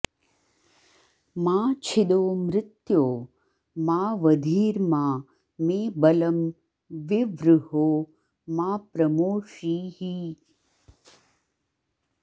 मा छि॑दो मृत्यो॒ मा व॑धी॒र्मा मे॒ बलं॒ विवृ॑हो॒ मा प्रमो॑षीः